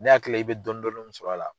Ne hakili la i be dɔɔni dɔɔni min sɔrɔ a la